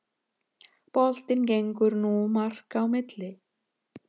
Boltinn gengur nú marka á milli